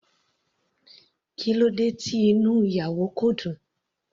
Kílódé tí inú ìyàwó kò dùn.